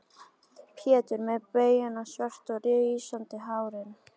Pétur með baugana svörtu og rísandi hárin.